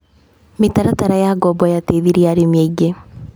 Mĩtaratara ya ngombo yateithĩrĩirie arĩmi aingĩ.